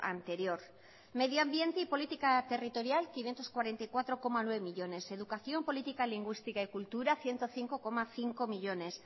anterior medio ambiente y política territorial quinientos cuarenta y cuatro coma nueve millónes educación política lingüística y cultura ciento cinco coma cinco millónes